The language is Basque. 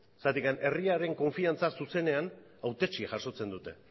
zergatik herriaren konfidantza zuzenean hautetxeak jasotzen dute